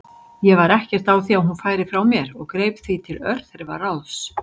Ég var ekkert á því að hún færi frá mér og greip því til örþrifaráðs.